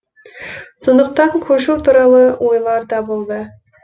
сондықтан көшу туралы ойлар да болды